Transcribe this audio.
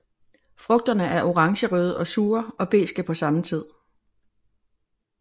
Frugterne er orangerøde og sure og beske på samme tid